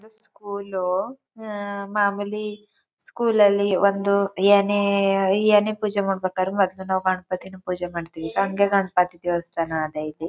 School ಅಹ್ ಅಹ್ ಅಹ್ ಮಾಮೂಲಿ ಸ್ಕೂಲ್ ಅಲ್ಲಿ ಒಂದು ಏನೇ ಎನೇ ಪೂಜೆ ಮಾಡೋದು ಪೂಜೆ ಮಾಡ್ತೀವಿ. ದೇವಸ್ಥಾನ ಅಲ್ಲೈತೆ.